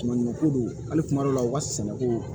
Manɲumanko don hali kuma dɔ la u ka sɛnɛko